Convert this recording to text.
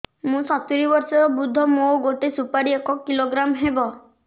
ମୁଁ ସତୂରୀ ବର୍ଷ ବୃଦ୍ଧ ମୋ ଗୋଟେ ସୁପାରି ଏକ କିଲୋଗ୍ରାମ ହେବ